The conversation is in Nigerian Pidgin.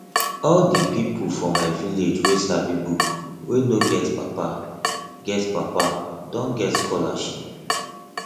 all di pipu for my village wey sabi book wey no get papa get papa don get scholarship